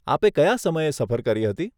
આપે કયા સમયે સફર કરી હતી?